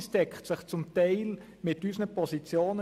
Sie decken sich zum Teil mit unseren Positionen.